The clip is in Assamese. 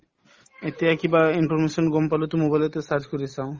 এতিয়াই কিবা information গম পালো to mobile তে search কৰি চাওঁ